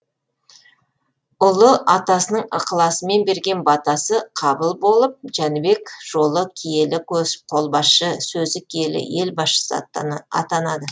ұлы атасының ықыласымен берген батасы қабыл болып жәнібек жолы киелі қолбасшы сөзі жүйелі ел басшысы атанады